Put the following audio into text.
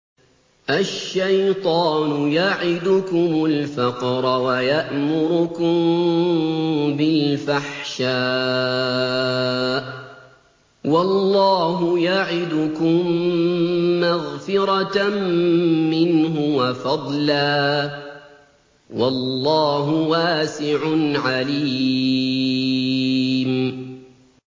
الشَّيْطَانُ يَعِدُكُمُ الْفَقْرَ وَيَأْمُرُكُم بِالْفَحْشَاءِ ۖ وَاللَّهُ يَعِدُكُم مَّغْفِرَةً مِّنْهُ وَفَضْلًا ۗ وَاللَّهُ وَاسِعٌ عَلِيمٌ